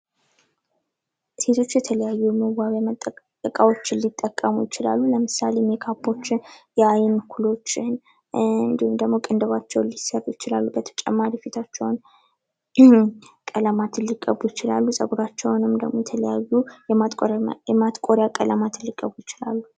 ሲቶች የተለያዩ የመዋቢያ እቃዎችን ሊጠቀሙ ይችላሉ። ለምሳሌ ሜካፖችን፣ የአይን ኩሎችን፣ እንዲሁም ደሞ ቅንድባቸውን ሊሰሩ ይችላሉ፤ በተጨማሪ ፊታቸውን የሆኑ ቀለማትን ሊቀቡ ይችላሉ፣ ጸጉራቸውን የተለያዩ የማጥቆሪያ ቀለማትን ሊቀቡ ይችላሉ።